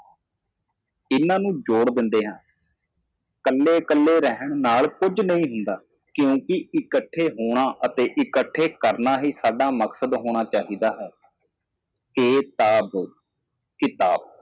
ਇਹ ਸਭ ਸ਼ਾਮਲ ਕਰੋ ਵੱਖ ਰਹਿਣ ਵਿੱਚ ਕੁਝ ਵੀ ਗਲਤ ਨਹੀਂ ਹੈ ਕਿਉਂਕਿ ਇਕੱਠੇ ਹੋਣਾ ਅਤੇ ਇਕੱਠ ਕਰਨਾ ਹੀ ਸਾਡਾ ਉਦੇਸ਼ ਹੋਣਾ ਚਾਹੀਦਾ ਹੈ ਕਿ ਟੈਬ ਕਿਤਾਬ